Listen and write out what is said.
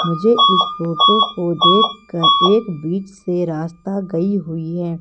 मुझे इस फोटो को देखकर एक बीच से रास्ता गई हुई है।